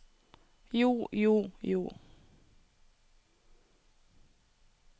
jo jo jo